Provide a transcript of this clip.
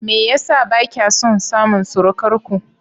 Me yasa bakya son samun surukarku?